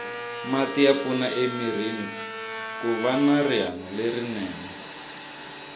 mati ya pfuna emirini kuva na rihanolerinene